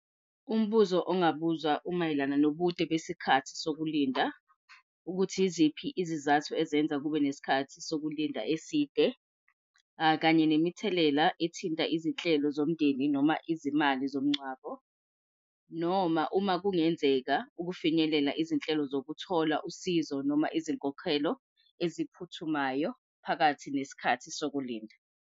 Umbuzo ongabuzwa umayelana nobude besikhathi sokulinda ukuthi yiziphi izizathu ezenza kube nesikhathi sokulinda eside kanye nemithelela ethinta izinhlelo zomndeni noma izimali zomngcwabo, noma uma kungenzeka ukufinyelela izinhlelo zokuthola usizo noma izinkokhelo eziphuthumayo phakathi nesikhathi sokulinda.